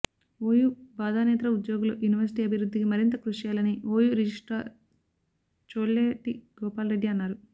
OU బోధనేతర ఉద్యోగులు university అభివృద్ధికి మరింత కృషి చేయాలని ఓయూ రిజిస్ట్రార్ చోల్లేటిగోపాల్రెడ్డి అన్నారు